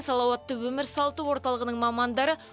салауатты өмір салты орталығының мамандары